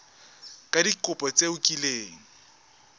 ka dikopo tse o kileng